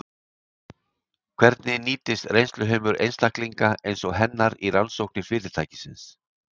Hvernig nýtist reynsluheimur einstaklinga eins og hennar í rannsóknir fyrirtækisins?